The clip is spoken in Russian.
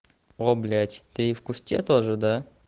о блять ты и в кусте тоже да